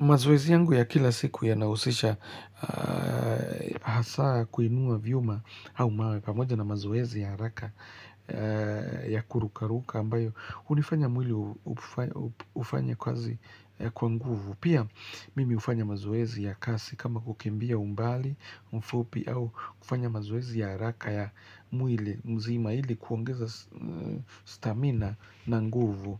Mazoezi yangu ya kila siku yanausisha hasaa kuinua vyuma au mawe pamoja na mazoezi ya haraka ya kurukaruka ambayo hunifanya mwili ufanye kazi kwa nguvu. Pia mimi hufanya mazoezi ya kasi kama kukimbia umbali mfupi au kufanya mazoezi ya haraka ya mwili mzima ili kuongeza stamina na nguvu.